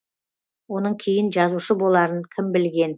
оның кейін жазушы боларын кім білген